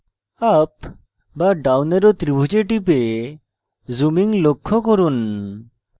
up বা down arrow ত্রিভুজে টিপে zooming লক্ষ্য করুন